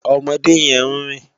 Òmòdé yèn n rin